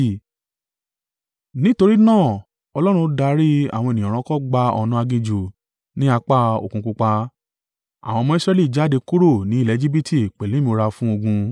Nítorí náà Ọlọ́run darí àwọn ènìyàn rọkọ gba ọ̀nà aginjù ní apá Òkun Pupa. Àwọn ọmọ Israẹli jáde kúrò ní ilẹ̀ Ejibiti pẹ̀lú ìmúra fún ogun.